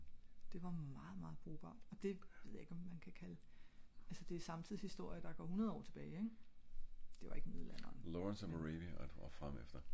det var meget meget brugbart og det ved jeg ikke man kan kalde altså det er samtidshistorie der går hundrede år tilbage det var ikke middelalderen